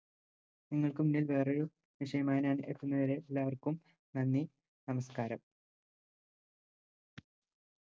നിങ്ങൾക്കുംബിൽ വേറൊരു വിഷയമായി ഞാൻ എത്തുന്നത് വരെ എല്ലാവർക്കും നന്ദി നമസ്ക്കാരം